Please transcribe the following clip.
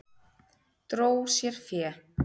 Dró sér fé